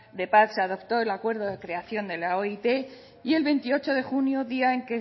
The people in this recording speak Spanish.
se adoptó el acuerdo de creación de la oit y el veintiocho de junio día en